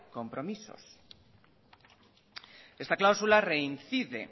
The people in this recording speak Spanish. compromisos esta cláusula reincide en